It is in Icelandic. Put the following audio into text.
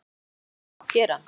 Hver eru framtíðarplön hennar?